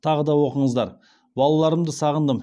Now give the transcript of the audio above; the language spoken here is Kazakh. тағы да оқыңыздар балаларымды сағындым